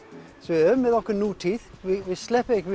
við höfum okkar nútíð við sleppum ekki